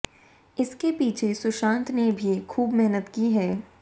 इसके पीछे सुशांत ने भी खूब मेहनत की है